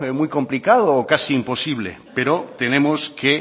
muy complicado o casi imposible pero tenemos que